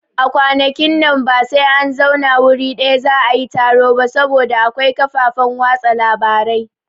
A kwanakin nan ba sai an zauna wuri ɗaya za'a yi taro ba saboda akwai kafafen watsa labarai